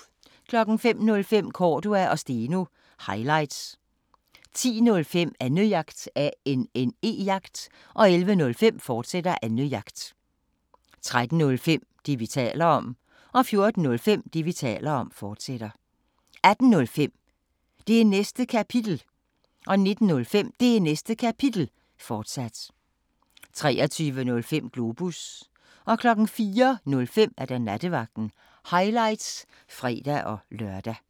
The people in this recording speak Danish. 05:05: Cordua & Steno – highlights 10:05: Annejagt 11:05: Annejagt, fortsat 13:05: Det, vi taler om 14:05: Det, vi taler om, fortsat 18:05: Det Næste Kapitel 19:05: Det Næste Kapitel, fortsat 23:05: Globus 04:05: Nattevagten – highlights (fre-lør)